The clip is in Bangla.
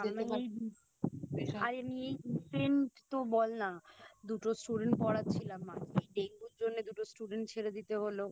আর আমি এই Recent তো বলনা দুটো Student পড়াচ্ছিলাম মাঝে এই ডেঙ্গুর জন্য দুটো Student ছেড়ে দিতে হলো